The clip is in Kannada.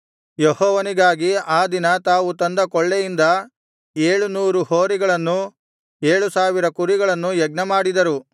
ಯೆಹೋವನಿಗಾಗಿ ಆ ದಿನ ತಾವು ತಂದ ಕೊಳ್ಳೆಯಿಂದ ಏಳು ನೂರು ಹೋರಿಗಳನ್ನೂ ಏಳು ಸಾವಿರ ಕುರಿಗಳನ್ನೂ ಯಜ್ಞಮಾಡಿದರು